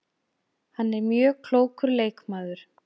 Hann er mjög klókur leikmaður